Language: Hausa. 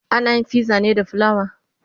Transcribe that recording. anayin fiza ne da flawa